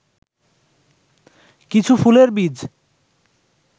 কিছু ফুলের বীজ